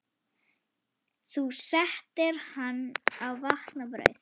SÉRA SIGURÐUR: Þú settir hann á vatn og brauð?